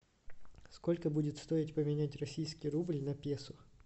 сколько будет стоить поменять российский рубль на песо